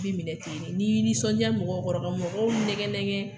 I bɛ minɛ ten ne n'i y'i nisɔndiya mɔgɔw kɔrɔ mɔgɔw nɛgɛ nɛgɛ